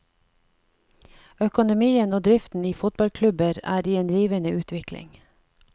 Økonomien og driften i fotballklubber er i en rivende utvikling.